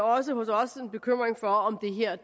også hos os en bekymring for om